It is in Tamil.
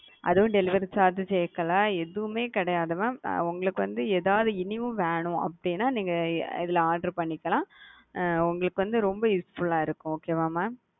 அதும் delivery charge சேக்கல எதுவுமே கிடையாது மா உங்களுக்கு வந்து எதாவது இனியு வேணு அப்படினா நீங்க இதுல order பண்ணிக்கலாம் உங்களுக்கு வந்து ரொம்ப useful ஆ இருக்கும் okay வா மா?